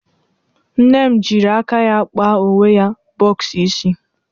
Nne m jịrị aka ya kpa onwe ya bọx isi.